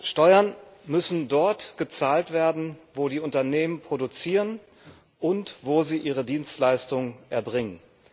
Steuern müssen dort gezahlt werden, wo die Unternehmen produzieren und wo sie ihre Dienstleistungen erbringen.